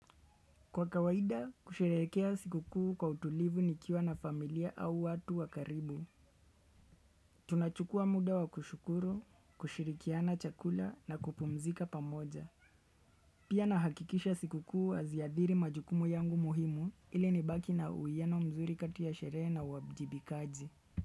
Kwa kawaida, kusherekea siku kuu kwa utulivu nikiwa na familia au watu wakaribu. Tunachukua muda wa kushukuru, kushirikiana chakula na kupumzika pamoja. Pia nahakikisha siku kuu haziathiri majukumu yangu muhimu ili nibaki na uiyano mzuri kati ya sherehe na uwajibikaji.